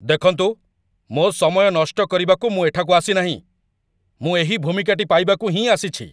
ଦେଖନ୍ତୁ, ମୋ ସମୟ ନଷ୍ଟ କରିବାକୁ ମୁଁ ଏଠାକୁ ଆସିନାହିଁ। ମୁଁ ଏହି ଭୂମିକାଟି ପାଇବାକୁ ହିଁ ଆସିଛି।